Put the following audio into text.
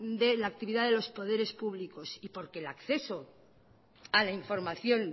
de la actividad de los poderes públicos y porque el acceso a la información